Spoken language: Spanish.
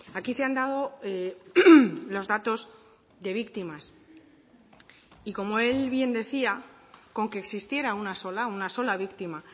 aquí se han dado los datos de víctimas y como el bien decía con que existiera una sola una sola víctima